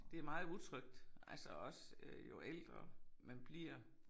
Det meget utrygt altså også øh jo ældre man bliver